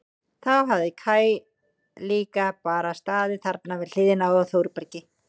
Þá hafi Kaj líka bara staðið þarna við hliðina á Þórbergi.